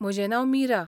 म्हजें नांव मीरा.